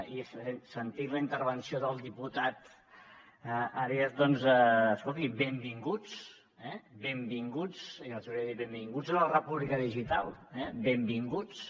i sentint la intervenció del diputat rivas doncs escoltin benvinguts eh benvinguts i els hauria de dir benvinguts a la república digital eh benvinguts